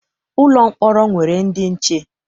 Ụlọ mkpọrọ nwere ndị nche.